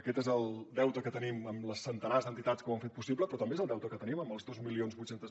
aquest és el deute que tenim amb els centenars d’entitats que ho han fet possible però també és el deute que tenim amb els dos mil vuit cents